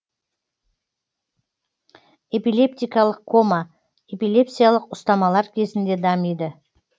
эпилептикалық кома эпилепсиялық ұстамалар кезінде дамиды